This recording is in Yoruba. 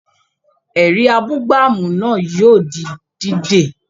Ẹ̀rí abúgbàmù náà yóò di dídè